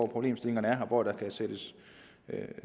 problemstillinger der er og hvor der kan sættes